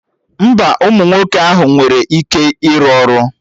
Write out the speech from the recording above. Mba, ụmụ nwoke ahụ enweghị ike iru ọrụ